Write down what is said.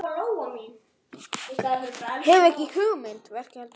Verkið heldur áfram.